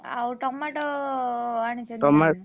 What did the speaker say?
ଆଉ tomato ଆଣିଛନ୍ତି ।